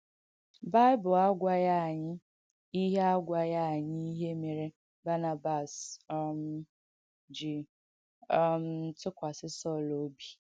Baịbụl àgwàghī ànyị ihe àgwàghī ànyị ihe mèrē Bànàbàs um ji um tụ́kwásī Sọl obi.